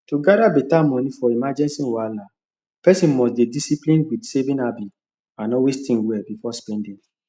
to gather better money for emergency wahala person must dey disciplined with saving habit and always think well before spending